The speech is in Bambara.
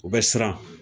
U bɛ siran